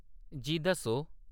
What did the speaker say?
जी, दस्सो।